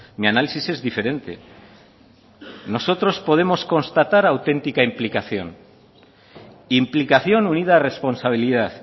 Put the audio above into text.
mi análisis es diferente nosotros podemos constatar autentica implicación implicación unida a responsabilidad